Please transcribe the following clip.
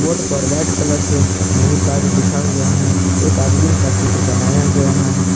Board पर white colour से new Taj लिखा हुआ है एक आदमीन का चित्र बनाया गया है।